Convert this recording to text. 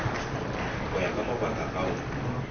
go ya ka mabaka ao